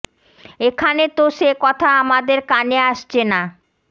এখানে তো সে কথা আমাদের কানে আসছে না